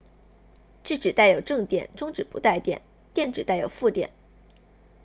质子带有正电中子不带电电子带有负电